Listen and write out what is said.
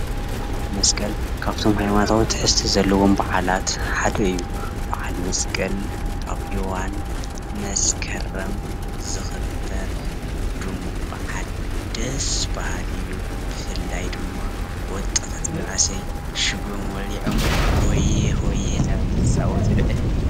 በዓል መስቀል ካፍቶም ሃይማነታዊ ትሕዝቶ ዘለዎም በዓላት ሓደ እዩ ። በዓል መስቀል ኣብ እዋን መስከረም ዝክበር ድሙቅ በዓል ደስ በሃሊ እዩ። ብፍላይ ድማ ወጣታት መናእሰይ ሽጎም ወልዖም ሆየ ሆየ እዳወሉ ዝፃወትሉ ዕለት እዩ።